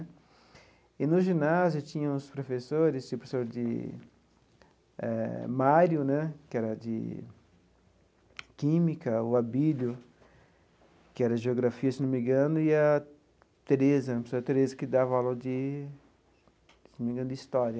E, no ginásio, tinha os professores, tinha o professor de eh Mário né, que era de Química, o Abílio, que era Geografia, se não me engano, e a Tereza, a professora Tereza, que dava aula de, se não me engano, de História.